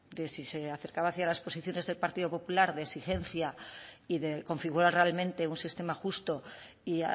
de si se acercaba hacia las posiciones del partido popular de exigencia y de configurar realmente un sistema justo y